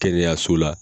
Kɛnɛyaso la